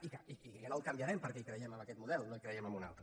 i no el canviarem perquè hi creiem en aquest model i no creiem en un altre